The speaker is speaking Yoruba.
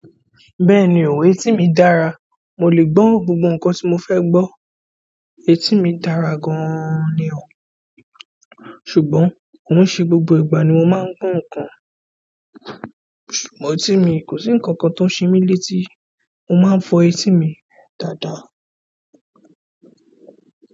Bẹ́ẹ̀ni o, etí mi daara mo lè gbọ́ gbogbo ǹkan tí mo fẹ́ gbọ́ etí mi dára gan ni o. Ṣùgbọ́n kò ń ṣe gbogbo ìgbà ni mo máa ń gbọ́ nǹkan, ṣùgbọ́n etí mi kò sí nǹkan kan tó ṣe mí létí, mo máa ń fọ etí mi dada.